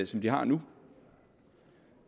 som de har nu